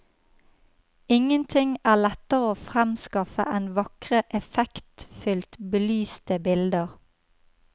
Ingenting er lettere å fremskaffe enn vakre, effektfylt belyste bilder.